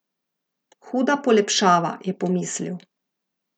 Huda polepšava, je pomislil.